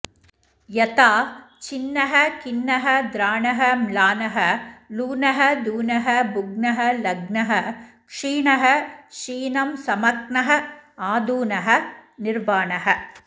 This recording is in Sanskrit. यथा छिन्नः खिन्नः द्राणः म्लानः लूनः धूनः भुग्नः लग्नः क्षीणः शीनं समक्नः आद्यूनः निर्वाणः